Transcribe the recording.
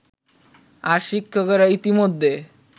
আর শিক্ষকেরা ইতিমধ্যে